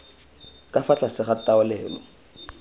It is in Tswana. ka fa tlase ga taolelo